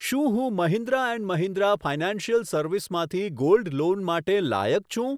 શું હું Mahindra and Mahindra financial service માંથી ગોલ્ડ લોન માટે લાયક છું?